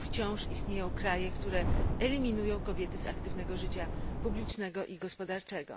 wciąż istnieją kraje, które eliminują kobiety z aktywnego życia publicznego i gospodarczego.